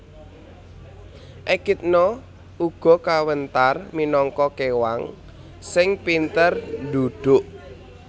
Ekidna uga kawentar minangka kéwang sing pinter ndhudhuk